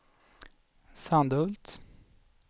Sandhult